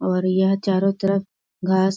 और यह चारों तरफ घास --